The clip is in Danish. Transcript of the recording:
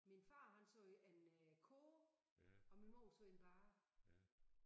Min far han sagde en øh kurv og min mor sagde en bae